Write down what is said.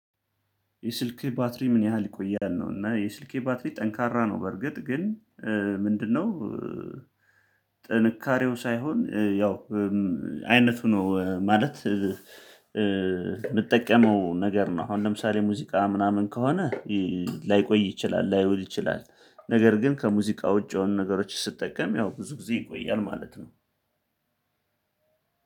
የስልህ ባትሪ ምን ያህል ይቆያል ነው? እና የስልኬ ባትሪ ጠንካራ ነው በርግጥ ግን ምንድነው ጥንካሬው ሳይሆን ያው አይነቱ ነው ማለት የምጠቀመው ነገር ነው። አሁን ለምሳሌ ሙዚቃ ምናምን ከሆነ ላይቆይ ይችላል ላይሆን ይችላል ነገር ግን ከሙዚቃ ውጪ የሆኑ ነገሮች ስጠቀም ያው ብዙ ጊዜ ይቆያል ማለት ነው።